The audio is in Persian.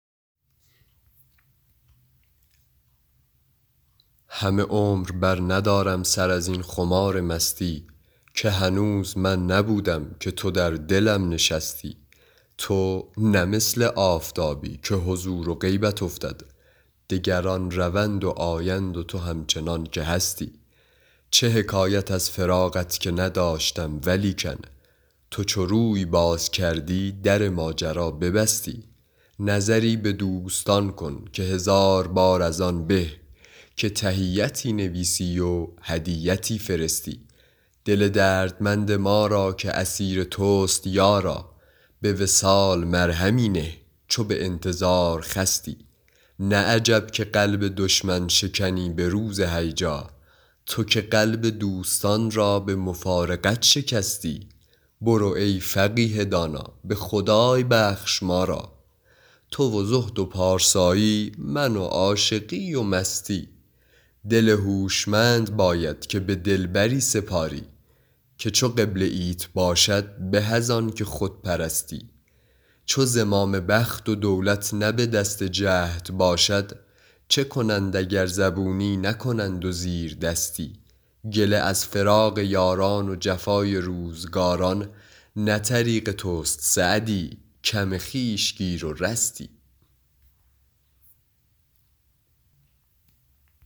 همه عمر برندارم سر از این خمار مستی که هنوز من نبودم که تو در دلم نشستی تو نه مثل آفتابی که حضور و غیبت افتد دگران روند و آیند و تو همچنان که هستی چه حکایت از فراقت که نداشتم ولیکن تو چو روی باز کردی در ماجرا ببستی نظری به دوستان کن که هزار بار از آن به که تحیتی نویسی و هدیتی فرستی دل دردمند ما را که اسیر توست یارا به وصال مرهمی نه چو به انتظار خستی نه عجب که قلب دشمن شکنی به روز هیجا تو که قلب دوستان را به مفارقت شکستی برو ای فقیه دانا به خدای بخش ما را تو و زهد و پارسایی من و عاشقی و مستی دل هوشمند باید که به دلبری سپاری که چو قبله ایت باشد به از آن که خود پرستی چو زمام بخت و دولت نه به دست جهد باشد چه کنند اگر زبونی نکنند و زیردستی گله از فراق یاران و جفای روزگاران نه طریق توست سعدی کم خویش گیر و رستی